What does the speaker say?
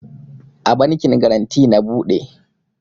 A bankin garanty na bude